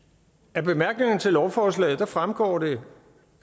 af bemærkningerne til lovforslaget fremgår det